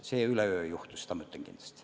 See üleöö ei juhtu, seda ma ütlen kindlasti.